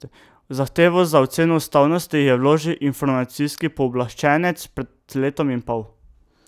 Zahtevo za oceno ustavnosti je vložil Informacijski pooblaščenec pred letom in pol.